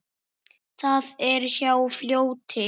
Það er hjá fljóti.